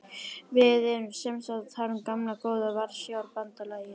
Við erum semsagt að tala um gamla góða Varsjárbandalagið.